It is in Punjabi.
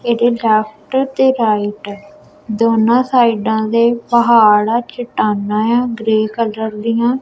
ਇਹਦੇ ਲੇਫ਼੍ਟ ਤੇ ਰਾਇਟ ਦੋਨੋਂ ਸਾਈਡਾਂ ਦੇ ਪਹਾੜ ਆਂ ਚੱਟਾਨਾਂ ਆਂ ਗ੍ਰੇਯ ਕਲਰ ਦੀਆਂ।